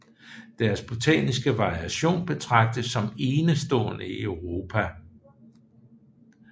Deres botaniske variation betragtes som enestående i Europa